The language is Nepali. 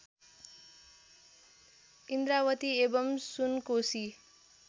इन्द्रावती एवं सुनकोशी